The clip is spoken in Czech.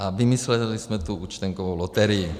A vymysleli jsme tu účtenkovou loterii.